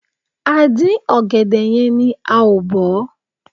A dín ọ̀gẹ̀dẹ̀ yẹn ni a ò bọ̀ ọ́.